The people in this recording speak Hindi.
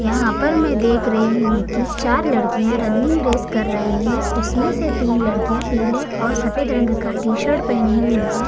यहां पर मैं देख रही हूं कि चार लड़कियां रनिंग रेस कर रही है उसमें से तीन लड़कियां पीले और सफेद रंग का टी-शर्ट पहनी हुई है--